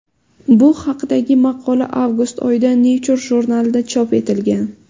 Bu haqdagi maqola avgust oyida Nature jurnalida chop etilgan .